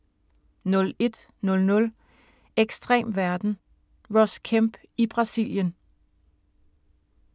01:00: Ekstrem verden – Ross Kemp i Brasilien